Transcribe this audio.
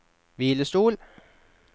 hvilestol